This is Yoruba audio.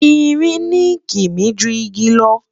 ìrìn ni kimi jù ìgi lo